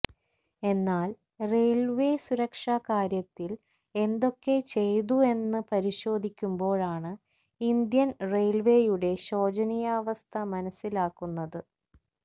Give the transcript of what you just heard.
എന്നാല് റെയില്വേ സുരക്ഷാ കാര്യത്തില് എന്തൊക്കെ ചെയ്തു എന്നു പരിശോധിക്കുമ്പോഴാണ് ഇന്ത്യന് റെയില്വേയുടെ ശോചനീയാവസ്ഥ മനസിലാകുന്നത്